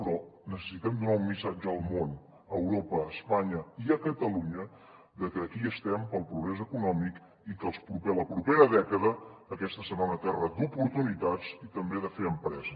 però necessitem donar un missatge al món a europa a espanya i a catalunya que aquí estem pel progrés econòmic i que la propera dècada aquesta serà una terra d’oportunitats i també de fer empresa